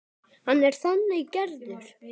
Hann er þannig gerður.